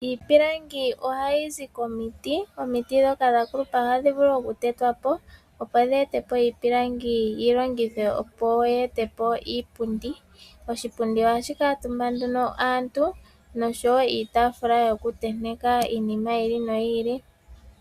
Iipilangi ohayi zi komiti dhoka dhakulupa ohadhi vulu okutetwa po opo dhi etepo iipilangi yi longithwe opo yete opo iipundi. Oshipundi hashi kamutumba aantu nosho wo iitafula yo kuteteka iinima yili noyili.